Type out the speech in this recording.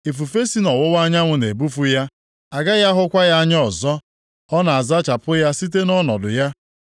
Ifufe si nʼọwụwa anyanwụ na-ebufu ya, agaghị ahụkwa ya anya ọzọ; ọ na-azachapụ ya site nʼọnọdụ ya.